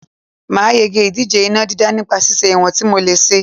Màá yege ìdíje iná dídá nípa ṣíṣe ìwọ̀n tí mò lè ṣe